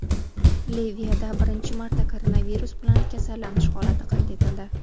Liviyada birinchi marta koronavirus bilan kasallanish holati qayd etildi.